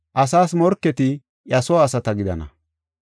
Asas morketi iya soo asata gidana.’